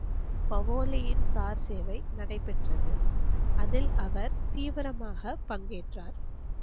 பஹோளியின் car சேவை நடைப்பெற்றது அதில் அவர் தீவிரமாக பங்கேட்றார்.